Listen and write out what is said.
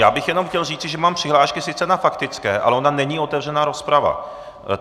Já bych jenom chtěl říci, že mám přihlášky sice na faktické, ale ona není otevřená rozprava.